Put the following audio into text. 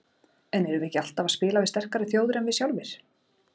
En erum við ekki alltaf að spila við sterkari þjóðir en við sjálfir?